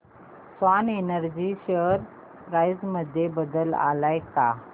Swan Energy share price मध्ये बदल आलाय का